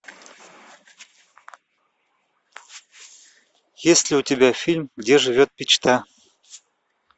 есть ли у тебя фильм где живет мечта